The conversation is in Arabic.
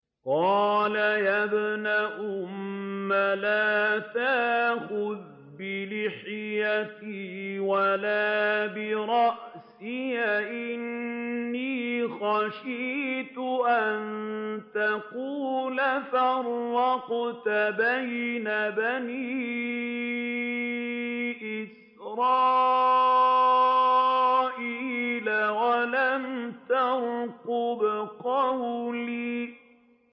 قَالَ يَا ابْنَ أُمَّ لَا تَأْخُذْ بِلِحْيَتِي وَلَا بِرَأْسِي ۖ إِنِّي خَشِيتُ أَن تَقُولَ فَرَّقْتَ بَيْنَ بَنِي إِسْرَائِيلَ وَلَمْ تَرْقُبْ قَوْلِي